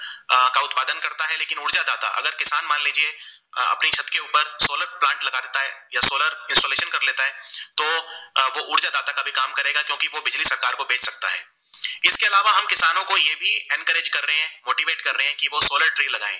इसके अलावा हम किसानो को ये भी encourage कर रहे motivate कर रहे है की वो solar tree लगाये